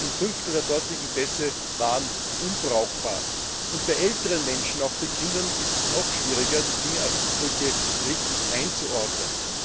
Mehr als ein Fünftel der dortigen Pässe waren unbrauchbar. Bei älteren Menschen, und auch bei Kindern, ist es noch schwieriger, die Fingerabdrücke richtig einzuordnen.